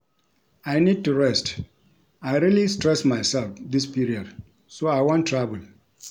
I need to rest, I really stress myself dis period so I wan travel